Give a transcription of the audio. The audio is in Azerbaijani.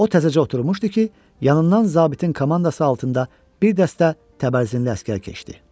O təzəcə oturmuşdu ki, yanından zabitin komandası altında bir dəstə təbərzinli əsgər keçdi.